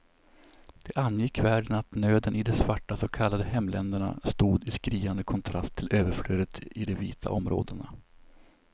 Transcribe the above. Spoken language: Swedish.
Det angick världen att nöden i de svarta så kallade hemländerna stod i skriande kontrast till överflödet i de vita områdena.